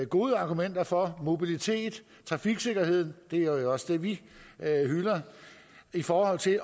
gode argumenter for mobilitet og trafiksikkerhed det er jo også det vi hylder i forhold til at